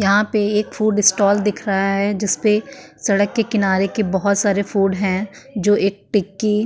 यहां पे एक फ़ूड स्टाल दिख रहा है जिसपे सड़क के किनारे के बोहोत सारे फ़ूड हैं जो एक टिक्की